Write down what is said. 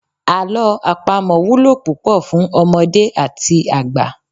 Àlọ́ àpamọ wúlò púpọ̀ fún ọmọdé àti àgbà.